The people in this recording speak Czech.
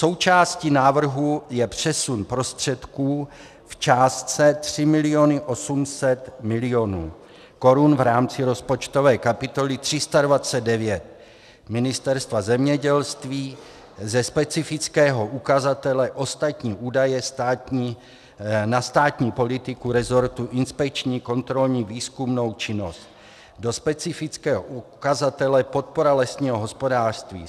Součástí návrhu je přesun prostředků v částce 3 miliony 800 milionů korun v rámci rozpočtové kapitoly 329 Ministerstva zemědělství ze specifického ukazatele ostatní údaje na státní politiku resortu inspekční, kontrolní, výzkumnou činnost do specifického ukazatele podpora lesního hospodářství.